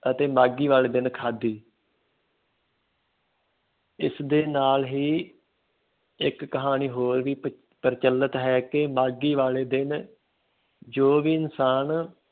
ਅਤੇ ਮਾਘੀ ਵਾਲੇ ਦਿਨ ਖਾਧੀ ਇਸਦੇ ਨਾਲ ਹੀ ਇੱਕ ਕਹਾਣੀ ਹੋਰ ਵੀ ਪ ਪ੍ਰਚਲਿਤ ਹੈ ਕਿ ਮਾਘੀ ਵਾਲੇ ਦਿਨ ਜੋ ਵੀ ਇਨਸਾਨ